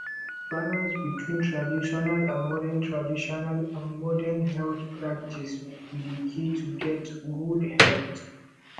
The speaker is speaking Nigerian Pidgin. balance between traditional and modern traditional and modern health practices be de key to get good health